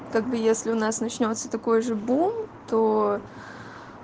как бы если у нас начнётся такой же бунт то